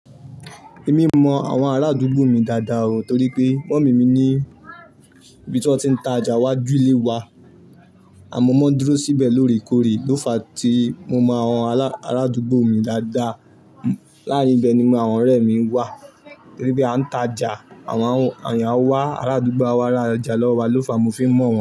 Èmi mọ àwọn arádúgbò mi dáadáa o torí pé mommy mi ní ibí tó ti ń ta ọjà wájú ilé wa, à mọ́ máa dúró síbẹ̀ lóòrèkóòrè. Ló fa tí mo mọ àwọn arádúgbò mi dáadáa. Láàárín ibẹ̀ ni àwọn ọ̀rẹ́ mi wà torí pé a ń ta jà, àwọn èèyàn wá arádúgbà a wá ra ọjà lọ́wọ́ wa lọ́ fa mo fi ń mọ̀ wọ́n.